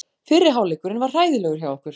Fyrri hálfleikurinn var hræðilegur hjá okkur.